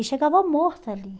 E chegava morto ali.